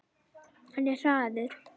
Hann er hraður.